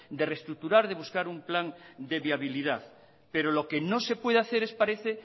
de reestructurar de buscar un plan de viabilidad pero lo que no se puede hacer es parece